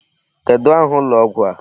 Kedụ aha ụlọ ọgwụ a?